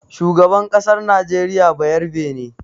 Shugaban ƙasar najeriya bayarabe ne.